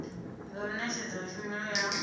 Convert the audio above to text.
nga u netshedza tshumelo ya